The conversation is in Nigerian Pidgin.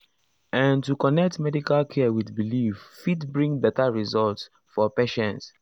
ehn to connect medical care with belief fit bring better results for patients.